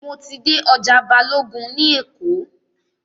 Mo ti dé ọjà Balógun ní Èkó.